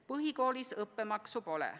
Põhikoolis õppemaksu pole.